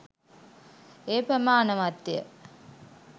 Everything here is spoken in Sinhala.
එය ප්‍රමාණවත්ය.